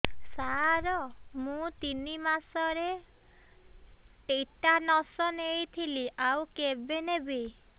ସାର ମୁ ତିନି ମାସରେ ଟିଟାନସ ନେଇଥିଲି ଆଉ କେବେ ନେବି